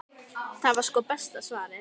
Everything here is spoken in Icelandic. Það var sko besta svarið.